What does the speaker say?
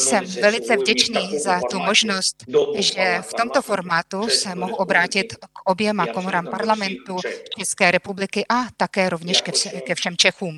Jsem velice vděčný za tu možnost, že v tomto formátu se mohu obrátit k oběma komorám Parlamentu České republiky a také rovněž ke všem Čechům.